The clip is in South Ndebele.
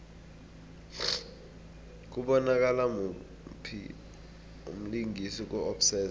kubonakala muphi umlingisi ku obsessed